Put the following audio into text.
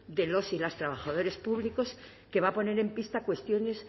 de los y las trabajadores públicos que va a poner en pista cuestiones